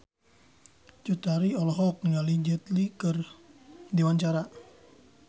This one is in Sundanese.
Cut Tari olohok ningali Jet Li keur diwawancara